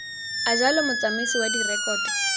a jalo motsamaisi wa direkoto